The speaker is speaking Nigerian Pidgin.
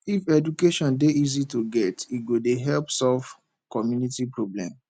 if education dey easy to get e go dey help solve community problem